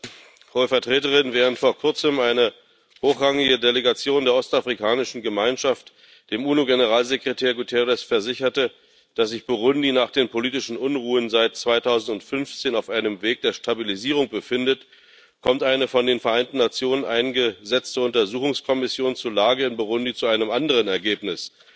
Herr Präsident, Hohe Vertreterin! Während vor Kurzem eine hochrangige Delegation der Ostafrikanischen Gemeinschaft dem UNO Generalsekretär Guterres versicherte, dass sich Burundi nach den politischen Unruhen seit 2015 auf einem Weg der Stabilisierung befindet, kommt eine von den Vereinten Nationen eingesetzte Untersuchungskommission zur Lage in Burundi zu einem anderen Ergebnis